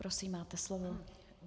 Prosím, máte slovo.